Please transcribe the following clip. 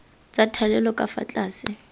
tsa thalelo ka fa tlase